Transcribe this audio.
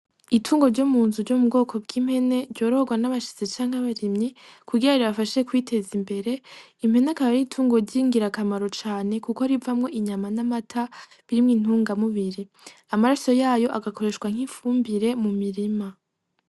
Itungo ry'omunzu ry'omubwoko bw'impene ryororwa n'abashitsi canke abarimyi kugira ribafashe kwiteza imbere, impene akaba aritungo ryingira kamaro cane kuko rivamwo inyama n'amata birimwo intunga m'ubiri, Amase yayo agakoreshwa nk'ifumbire m'umumirima .